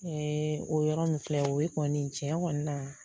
o yɔrɔ min filɛ o ye kɔni tiɲɛ kɔni na